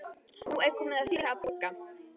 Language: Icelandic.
Nú er komið að þér að borga.